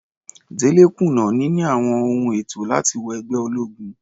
Dele kùnà níní àwọn ohun ètò láti wọ ẹgbẹ́ ológun.